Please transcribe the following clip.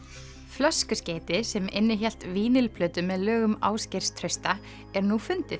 flöskuskeyti sem innihélt með lögum Ásgeirs Trausta er nú fundið